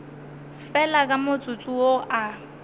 fela ka motsotso wo a